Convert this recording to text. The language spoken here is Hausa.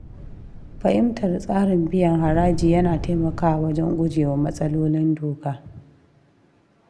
Fahimtar tsarin biyan haraji ya na taimakawa wajen guje wa matsalolin doka.